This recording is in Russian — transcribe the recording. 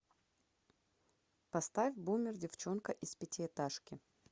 поставь бумер девчонка из пятиэтажки